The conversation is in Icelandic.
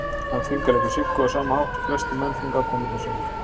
Hann þvingar líka Siggu á sama hátt og flestir menn þvinga konurnar sínar.